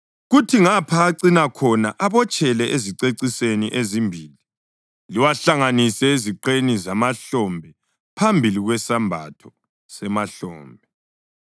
kuthi ngapha acina khona abotshelwe ezicecisweni ezimbili, liwahlanganise eziqeni zemahlombe phambili kwesembatho semahlombe.